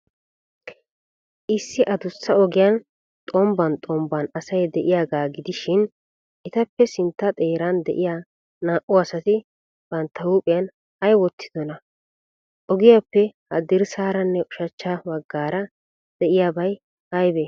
Issi adussa ogiyan xombban xombban asay de'iyaagaa gidishin, etappe sintta xeeran de'iyaa naa''u asati bantta huuphiyan ay wottidonaa? Ogiyaappe haddirssaaranne ushachcha baggaara de'iyabay aybee?